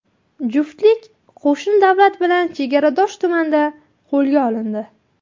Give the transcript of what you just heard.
Juftlik qo‘shni davlat bilan chegaradosh tumanda qo‘lga olindi.